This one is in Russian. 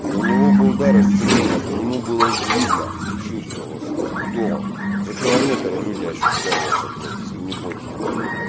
и у него был дар исцеления по нему было видно и чувствовалось кто за километр люди ощущали это блять если не больше нах